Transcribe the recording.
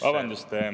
Vabandust!